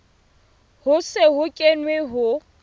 ho se ho kenwe ho